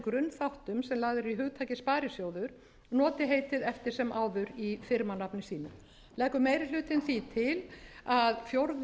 grunnþáttum sem lagðir eru í hugtakið sparisjóður noti samt heitið eftir sem áður í firmanafni sínu leggur meiri hlutinn því til að fjórðu